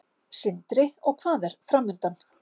Sindri: Og hvað er framundan?